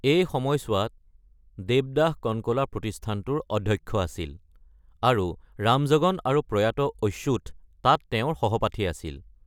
এই সময়ছোৱাত দেৱদাস কণকলা প্ৰতিষ্ঠানটোৰ অধ্যক্ষ আছিল, আৰু ৰামজগন আৰু প্ৰয়াত অচ্যুথ তাত তেওঁৰ সহপাঠী আছিল।